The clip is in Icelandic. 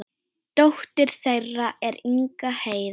Dóttir þeirra er Inga Heiða.